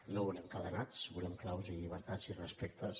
no volem cadenats volem claus i llibertats i respectes